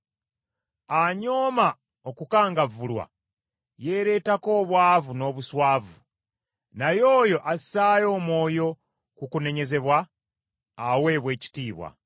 Anyooma okukangavvulwa yeereetako obwavu n’obuswavu, naye oyo assaayo omwoyo ku kunenyezebwa aweebwa ekitiibwa.